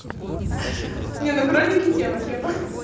не ну кролики тема тема